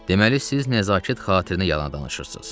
Deməli siz nəzakət xatirinə yalan danışırsız.